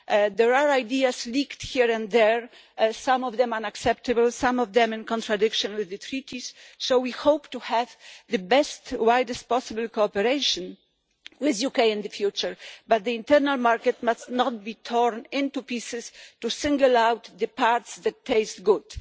There are ideas leaked here and there, some of them unacceptable and some of them in contradiction with the treaties, so we hope to have the best and widest possible cooperation with the UK in the future, but the internal market must not be torn into pieces to single out the parts that taste good.